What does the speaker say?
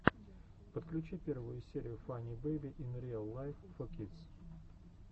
подключи первую серию фанни бэйби ин риал лайф фо кидс